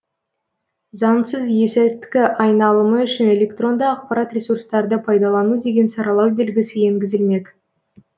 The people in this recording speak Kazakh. заңсыз есірткі айналымы үшін электронды ақпарат ресурстарды пайдалану деген саралау белгісі енгізілмек